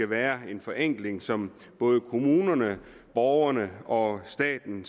være en forenkling som både kommunerne borgerne og staten